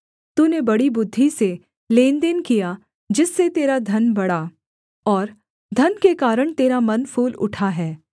तूने बड़ी बुद्धि से लेनदेन किया जिससे तेरा धन बढ़ा और धन के कारण तेरा मन फूल उठा है